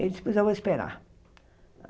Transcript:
Ele disse, pois eu vou esperar.